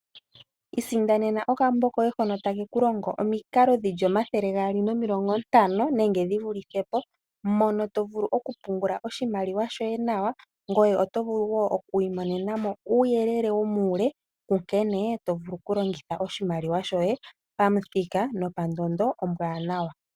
Ilandela okambo koye hoka takeku longo omikalo dhili omathele gaali nomilongo ntano. Nenge dhi vulithe po mono to vulu oku pungula oshimaliwa shoye nawa. Ngoye oto vulu wo oku imonena mo uuyelele womuule nkene to vulu oku longitha oshimaliwa shoye pamuthika nopandondo ombwanawa.